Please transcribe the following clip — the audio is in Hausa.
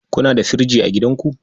Kuna da firji a gidanku?